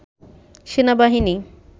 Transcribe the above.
সেনাবাহিনী